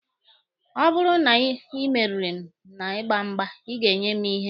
Ọ bụrụ na ị merighi m na ịgba mgba, Ị ga-enye mụ ihe.